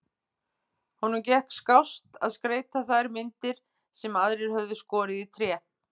Honum gekk skást að skreyta þær myndir sem aðrir höfðu skorið í tré.